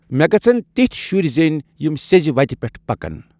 مےٚ گژھن تِتھۍ شُرۍ زیٚنۍ یِم سیٚزِ وتہِ پٮ۪ٹھ پکن !